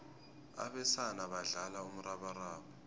abesana badlala umrabaraba